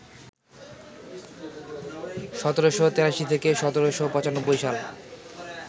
১৭৮৩ থেকে ১৭৯৫ সাল